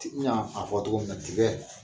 TIɲa a fɔ togo min na tigɛ.